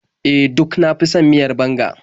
E, duk na fi son miyar banga.